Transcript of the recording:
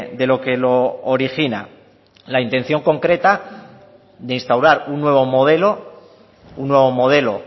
de lo que lo origina la intención concreta de instaurar un nuevo modelo un nuevo modelo